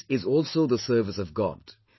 This is also the service of God